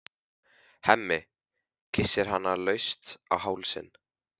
Hemmi kyssir hana laust á hálsinn.